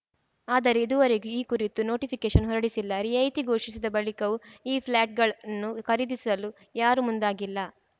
ಆದರೆ ಇದುವರೆಗೂ ಈ ಕುರಿತು ನೋಟಿಫಿಕೇಷನ್‌ ಹೊರಡಿಸಿಲ್ಲ ರಿಯಾಯಿತಿ ಘೋಷಿಸಿದ ಬಳಿಕವೂ ಈ ಫ್ಲ್ಯಾಟ್‌ಗಳನ್ನು ಖರೀದಿಸಲು ಯಾರೂ ಮುಂದಾಗಿಲ್ಲ